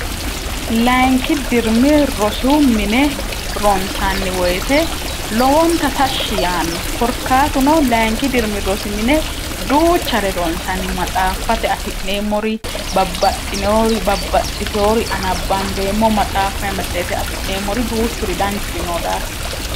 layinki dirmi rosu mine ronsanni woyite lowonta tashshi yaanno korkaatuno layinki dirmi rosi mine duuchare ronsanni matsaaffate afi'neemmori babbaxxinoori babbaxxitoori anabbambeemmo matsaaffa me tseete afi'neemmori duuchuri danchuri noo daafira